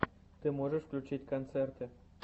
ты можешь включить концерты